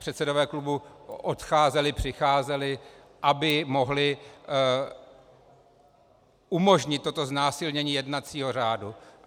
Předsedové klubů odcházeli, přicházeli, aby mohli umožnit toto znásilnění jednacího řádu.